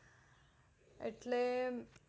એટલે